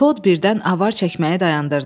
Tod birdən avar çəkməyi dayandırdı.